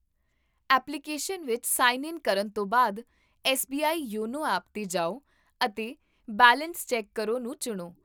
application ਵਿੱਚ sign in ਕਰਨ ਤੋਂ ਬਾਅਦ, ਐੱਸਬੀਆਈ ਯੋਨੋ ਐਪ 'ਤੇ ਜਾਓ ਅਤੇ ਬੈਲੇਂਸ ਚੈੱਕ ਕਰੋ ਨੂੰ ਚੁਣੋ